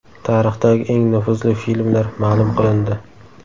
Tarixdagi eng nufuzli filmlar ma’lum qilindi.